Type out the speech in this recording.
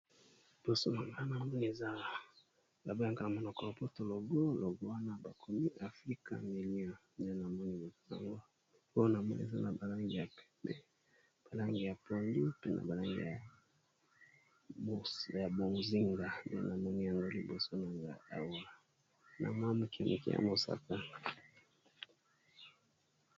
Liboso na nga na moni eza ba bengaka na monoko ya lopoto logo logo wana ba komi afrika milio nde na moni mpo na moni eza na ba langi ya pondu mpe na ba langi ya bozinga nde na moni yango liboso na nga awa na mwa moke moke ya mosaka.